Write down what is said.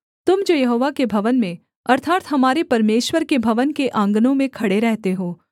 तुम जो यहोवा के भवन में अर्थात् हमारे परमेश्वर के भवन के आँगनों में खड़े रहते हो